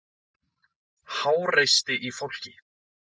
Háreysti í fólki.